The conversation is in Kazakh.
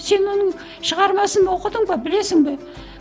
сен оның шығармасын оқыдың ба білесің бе